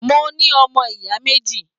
Mo ní ọmọ ìyá méjì.